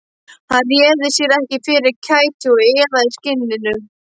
Hann réði sér ekki fyrir kæti og iðaði í skinninu.